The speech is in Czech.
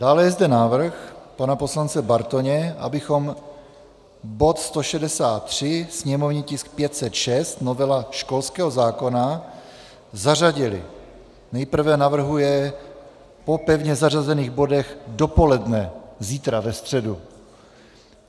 Dále je zde návrh pana poslance Bartoně, abychom bod 163, sněmovní tisk 506, novela školského zákona, zařadili - nejprve navrhuje po pevně zařazených bodech dopoledne zítra, ve středu.